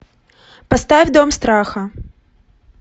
поставь дом страха